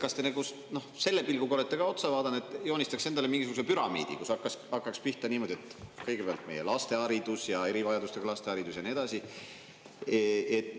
Kas te selle pilguga olete ka sellele otsa vaadanud, et joonistaks endale mingisuguse püramiidi, mis hakkaks pihta niimoodi, et kõigepealt on meie laste haridus ja erivajadustega laste haridus ja nii edasi?